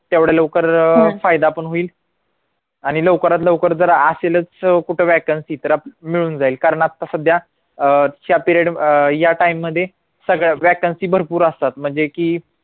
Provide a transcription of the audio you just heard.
तेवढा लवकर फायदा पण होईल आणि लवकरात लवकर जर असेलच कुठं vacancy तर मिळून जाईल कारण आता सध्या अह या period या time मध्ये सगळ्या vacancy भरपूर असतात म्हणजे की